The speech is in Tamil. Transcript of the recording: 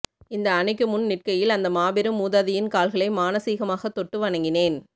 இந்த அணைக்குமுன் நிற்கையில் அந்த மாபெரும் மூதாதையின் கால்களை மானசீகமாகத் தொட்டு வணங்கினேன்